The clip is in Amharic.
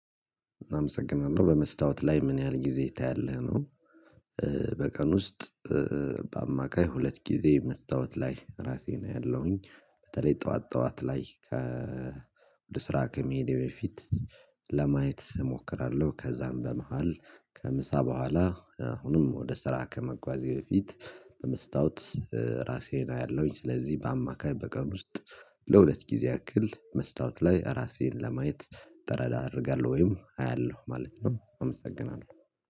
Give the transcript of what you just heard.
አመሰግናለሁ በመስታወት ላይ ምን ያህል ጊዜ ታያለህ ነው? በቀን ውስጥ በአማካይ ሁለት ጊዜ መስታወት ላይ ራሴን አያለሁኝ። በተለይ ጠዋት ጠዋት ላይ ከ ወደ ስራ ከመሄድ በፊት ለማየት እሞክራለሁ። ከዛም በመሃል ከምሳ በኋላ አሁንም ወደ ስራ ከመጓዝ በፊት በመስታወት ራሴን አያለሁኝ። ስለዚህ በአማካይ በቀን ውስጥ ለሁለት ጊዜ ያክል መስታወት ላይ ራሴን ለማየት ጠረዳ አደርጋለሁ ወይም አያለሁ ማለት ነው። አመሰግናለሁ